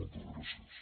moltes gràcies